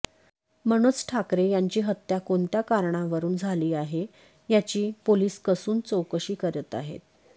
मनोज ठाकरे यांची हत्या कोणत्या कारणावरुन झाली आहे याची पोलीस कसून चौकशी करत आहेत